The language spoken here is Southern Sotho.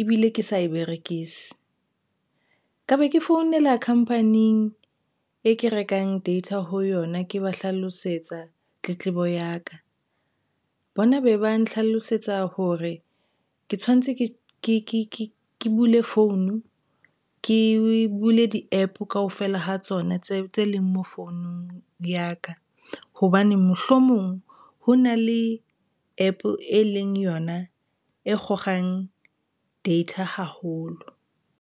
ebile ke sa e berekise ka be ke founela company-eng e ke rekang data ho yona ke ba hlalosetsa tletlebo ya ka bona be ba nhlalosetsa hore ke tshwanetse ke bule founu ke bule di-APP kaofela ha tsona tse leng mo founung ya ka hobane mohlomong ho na le APP e leng yona e kgokgang data haholo.